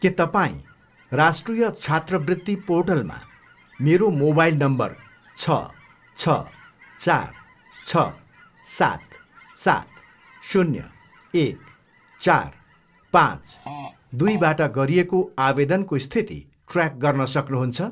के तपाईँँ राष्ट्रिय छात्रवृत्ति पोर्टलमा मेरो मोबाइल नम्बर छ, छ, चार, छ, सात, सात, शून्य, एक, चार, पाँच, दुईबाट गरिएको आवेदनको स्थिति ट्र्याक गर्न सक्नुहुन्छ?